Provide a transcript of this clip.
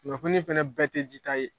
Kunnafoni fɛnɛ bɛɛ tɛ di ta ye